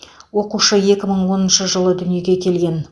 оқушы екі мың оныншы жылы дүниеге келген